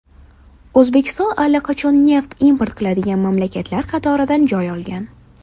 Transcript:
O‘zbekiston allaqachon neft import qiladigan mamlakatlar qatoridan joy olgan.